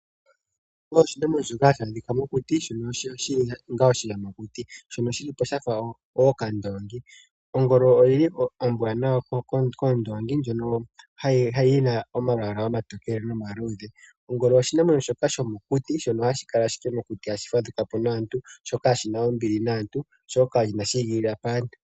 Muunamapya nuuniimuna aantu ihaya ilikolele mo ashike iimaliwa ashike ohaya ilikolele mo wo iikulya . Iikulya yaza miilongomwa mbyoka ya kutha momapya gawo nenge miinamwenyo myono haya tekula moofaalama dhawo.